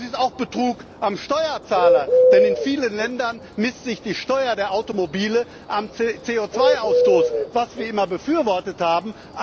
Liter. Das ist auch Betrug am Steuerzahler, denn in vielen Ländern bemisst sich die Steuer der Automobile am CO2 Ausstoß, was wir immer befürwortet